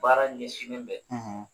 Baara ɲɛsinni bɛ,